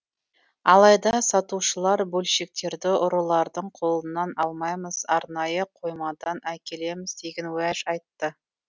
алайда сатушылар бөлшектерді ұрылардың қолынан алмаймыз арнайы қоймадан әкелеміз деген уәж айтты